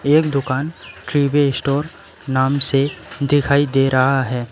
एक दुकान ट्रीबे स्टोर नाम से दिखाई दे रहा है।